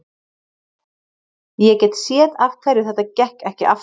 Ég get séð af hverju þetta gekk ekki aftast.